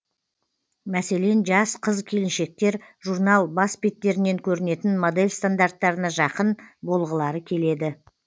мәселен жас қыз келіншектер журнал бас беттерінен көрінетін модель стандарттарына жақын болғылары келеді